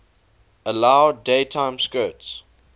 allowed daytime skirts